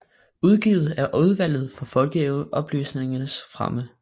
Udgivet af Udvalget for Folkeoplysningens Fremme